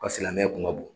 Ka silamɛya kun ka bon